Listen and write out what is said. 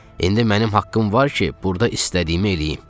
İndi mənim haqqım var ki, burda istədiyimi eləyim.